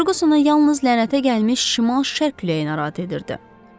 Fercusona yalnız lənətə gəlmiş şimal-şərq küləyi narahat edirdi.